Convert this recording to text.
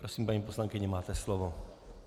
Prosím, paní poslankyně, máte slovo.